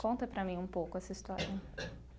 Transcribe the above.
Conta para mim um pouco essa história.